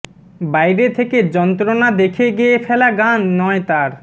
বাইরে থেকে যন্ত্রণা দেখে গেয়ে ফেলা গান নয় তাঁর